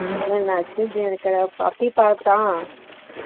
இல்லங்க fruit juice bajji சாப்பிட்டோ